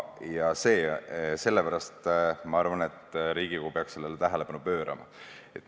Ja sellepärast ma arvan, et Riigikogu peab sellele tähelepanu pöörama.